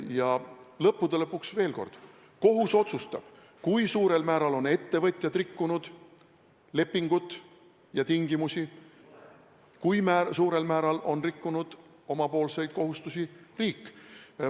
Ja lõppude lõpuks veel kord: kohus otsustab, kui suurel määral on ettevõtjad rikkunud lepingutingimusi, kui suurel määral on rikkunud omapoolseid kohustusi riik.